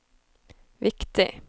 viktig